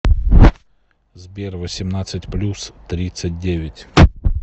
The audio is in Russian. сбер восемнадцать плюс тридцать девять